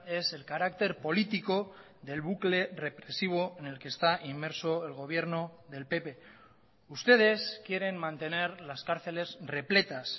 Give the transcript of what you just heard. es el carácter político del bucle represivo en el que está inmerso el gobierno del pp ustedes quieren mantener las cárceles repletas